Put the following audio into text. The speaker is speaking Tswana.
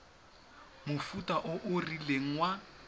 mofuta o o rileng wa